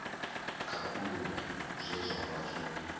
khakhulula zwe zwa vha zwo